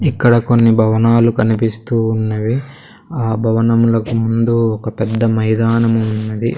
ఇక్కడ కొన్ని భవనాలు కనిపిస్తూ ఉన్నవి ఆ భవనంలకు ముందు ఒక పెద్ద మైదానం ఉన్నది.